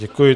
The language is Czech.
Děkuji.